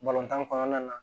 Balontan kɔnɔna na